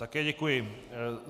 Také děkuji.